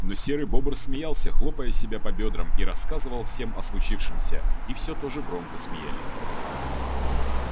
но серый бобр смеялся хлопая себя по бёдрам и рассказывал всем о случившемся и всё тоже громко смеялись